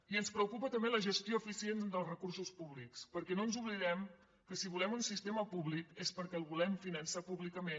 i ens preocupa també la gestió eficient dels recursos públics perquè no ens oblidem que si volem un sistema públic és perquè el volem finançar públicament